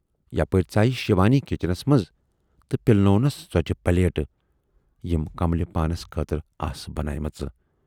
یپٲرۍ ژایہِ شِوانی کِچنس منز تہٕ پِلنونَس ژوچہِ پلیٹ یِم کملہِ پانَس خٲطرٕ آسہٕ بناومژٕ۔